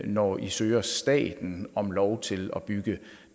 når i søger staten om lov til at bygge